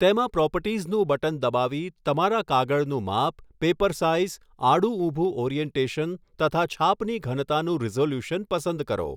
તેમાં પ્રોપર્ટીઝનું બટન દબાવી તમારા કાગળનું માપ, પેપર સાઇઝ, આડું ઊભું ઓરિઅન્ટેશન તથા છાપની ઘનતાનું રિઝોલ્યુશન પસંદ કરો.